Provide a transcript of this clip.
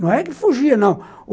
Não é que fugia, não.